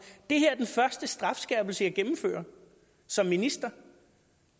det her er den første strafskærpelse jeg gennemfører som minister